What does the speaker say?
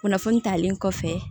Kunnafoni talen kɔfɛ